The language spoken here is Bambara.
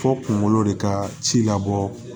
Fo kungolo de ka ci labɔ